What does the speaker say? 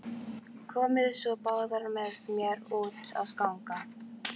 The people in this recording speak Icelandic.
Komiði svo báðar með mér út að ganga.